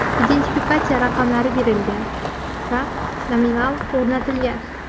Identifikatsiya raqamlari berilgan va nominallar o‘rnatilgan.